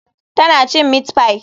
Tana cin meat pie.